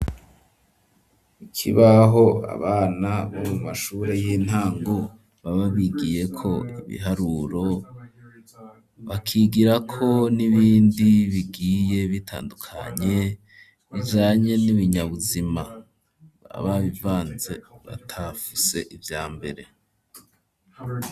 Ikibaho abana bo mu mashure y'intango baba bigiyeko ibiharuro bakigirako n'ibindi bigiye bitandukanye bijanye n'ibinyabuzima baba babivanze batafuse ivya mbere.